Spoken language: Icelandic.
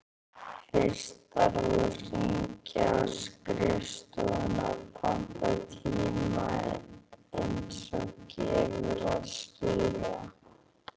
Fyrst þarf að hringja á skrifstofuna og panta tíma, eins og gefur að skilja.